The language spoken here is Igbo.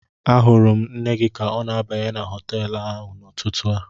Ahụrụ m nne gị ka ọ na-abanye na họtel ahụ n'ụtụtụ a